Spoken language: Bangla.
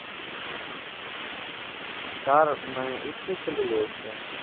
তার মানে একটিই ছেলে রয়েছে।